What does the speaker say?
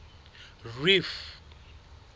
reef